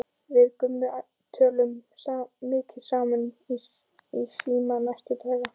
Við Gummi töluðum mikið saman í síma næstu daga.